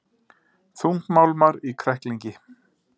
Þungmálmar í kræklingi